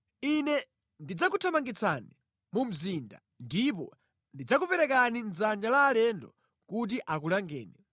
Ine ndidzakuthamangitsani mu mzinda ndipo ndidzakuperekani mʼdzanja la alendo kuti akulangeni.